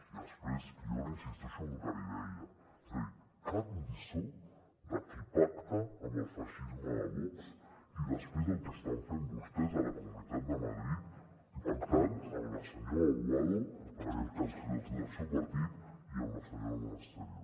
i després jo insisteixo en el que li deia cap lliçó de qui pacta amb el feixisme de vox ni després del que estan fent vostès a la comunitat de madrid pactant el senyor aguado que és del seu partit amb la senyora monasterio